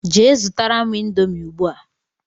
Jee zụtara mụ índomi ugbua!!